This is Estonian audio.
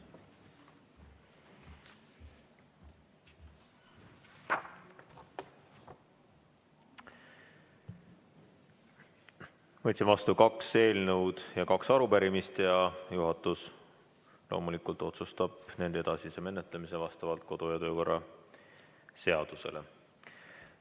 Võtsin vastu kaks eelnõu ja kaks arupärimist ning juhatus loomulikult otsustab nende edasise menetlemise vastavalt kodu- ja töökorra seadusele.